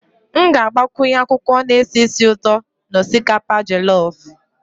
M ga-agbakwunye akwụkwọ na-esi ísì ụtọ na osikapa jolof